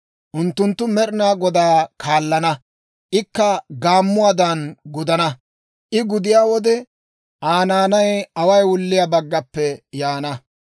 «Unttunttu Med'inaa Godaa kaallana; ikka gaammuwaadan gudana. I gudiyaa wode, Aa naanay away wulliyaa baggappe yaana;